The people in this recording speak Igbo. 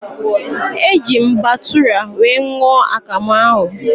Eji m batụra wee ṅụọ akamụ ahụ